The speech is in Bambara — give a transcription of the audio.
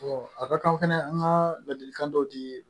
a bɛ kan o fɛnɛ an ka ladilikan dɔ di